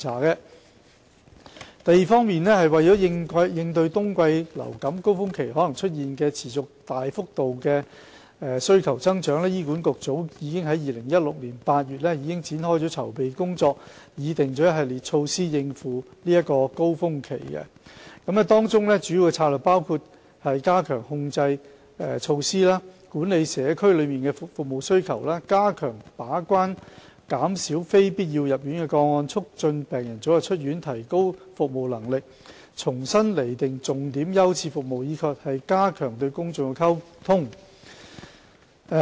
二為應對冬季流感高峰期可能出現的持續及大幅度服務需求增長，醫管局早在2016年8月已開展籌備工作，並擬定一系列措施以應付高峰期，其中主要的策略包括加強感染控制措施、管理社區內的服務需求、加強把關減少非必要入院的個案、促進病人早日出院、提高服務能力、重新釐定重點優次服務，以及加強與公眾的溝通。